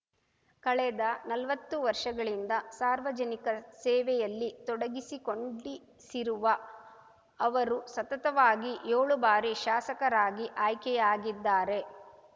ಕಳೆದ ನಲ್ವತ್ತು ವರ್ಷಗಳಿಂದ ಸಾರ್ವಜನಿಕ ಸೇವೆಯಲ್ಲಿ ತೊಡಗಿಸಿಕೊಂಡಿಸಿರುವ ಅವರು ಸತತವಾಗಿ ಯೋಳು ಬಾರಿ ಶಾಸಕರಾಗಿ ಆಯ್ಕೆಯಾಗಿದ್ದಾರೆ